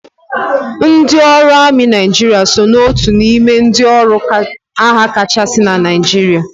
Ndị ọrụ amị Naijiria so na otu n'ime ndị ọrụ agha kachasị na Naijiria